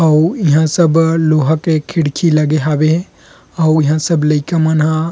अउ इहा सब लोहा के खिड़की लगे हाबे अउ इहा सब लइका मन ह --